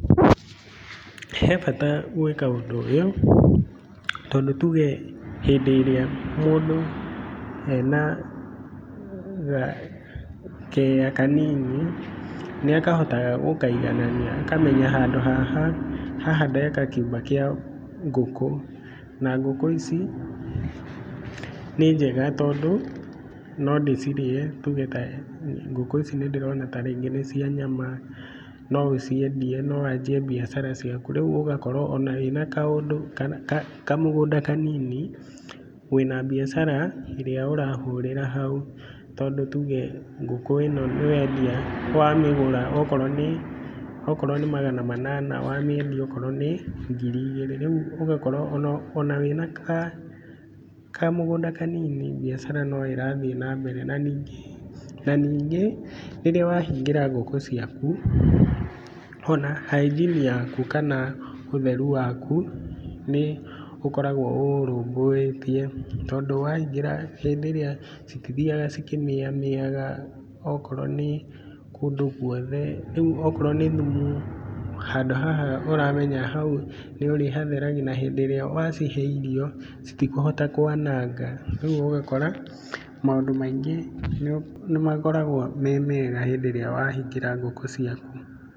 He bata gwĩka ũndũ ũyũ, tondũ tuge hĩndĩ ĩrĩa mũndũ ena keya kanini, nĩ akahotaga gũkaiganania akamenya handũ haha, haha ndaka kĩũmba kĩa ngũkũ, na ngũkũ ici nĩ njega, tondũ no ndĩcirĩe, nĩ tuge ngũkũ ici nĩ ndĩrona ta rĩngĩ nĩ cia nyama, no ũciendie, no wanjie mbiacara ciaku, rĩu ũgakorwo wĩna kaũndũ, kamũgũnda kanini, wĩna mbiacara ĩrĩa ũrahũrĩra hau, tondũ tuge ngũkũ ĩno wendia, wamĩgũra okorwo nĩ magana manana wamĩendi okorwo nĩ ngiri igĩrĩ. Rĩu ũgakorwo ona wĩna kamũgũnda kanini mbiacara no ĩrathiĩ na mbere, na ningĩ na ningĩ, rĩrĩa wahingĩra ngũkũ ciaku, ona hygiene yaku, kana ũtheru waku nĩ ũkoragwo ũũrũmbũĩtie, tondũ wahingĩra hĩndĩ ĩrĩa, citithiaga cikĩmĩaga mĩaga okorwo nĩ kũndũ guothe. Rĩu okorwo nĩ thumu handũ haha ũramenya hau ũrĩhatheragia na hĩndĩ ĩrĩa wacihe irio citikũhota kwananga. Rĩu ũgakora maũndũ maingĩ nĩ makoragwo me mega hĩndĩ ĩrĩa wa hingĩra ngũkũ ciaku.